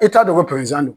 E t'a dɔn ko prozan don